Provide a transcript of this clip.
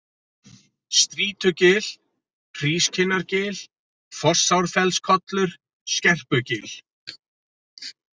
Strýtugil, Hrískinnargil, Fossárfellskollur, Skerpugil